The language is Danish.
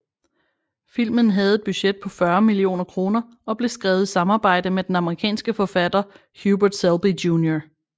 Filmen havde et budget på 40 millioner kroner og blev skrevet i samarbejde med den amerikanske forfatter Hubert Selby Jr